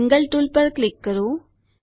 angle tool પર click કરો